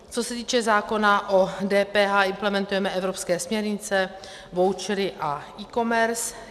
Co se týče zákona o DPH, implementujeme evropské směrnice, vouchery a eCommerce.